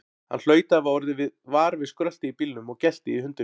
Hann hlaut að hafa orðið var við skröltið í bílnum og geltið í hundinum.